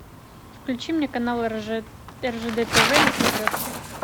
включи мне канал ржд тв на смотрешке